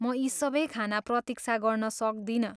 म यी सबै खान प्रतीक्षा गर्न सक्दिनँ।